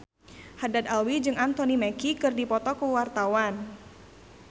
Haddad Alwi jeung Anthony Mackie keur dipoto ku wartawan